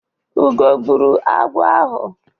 Ugo gbụrụ agwọ ahụ.